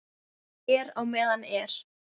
Er á meðan er.